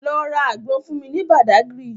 Lọ ra àgbọn fún mi ní Badagry